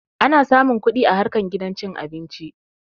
Ana samun kuɗi a harkar gidan cin abinci